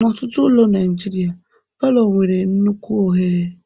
N'ọtụtụ ụlọ Naijiria, palọ nwere nnukwu oghere